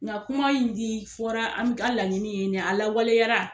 Nga kuma in di fɔra an ka laɲini ye a lawaleyara.